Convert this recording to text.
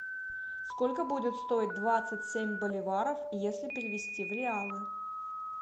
сколько будет стоит двадцать семь боливаров если перевести в реалы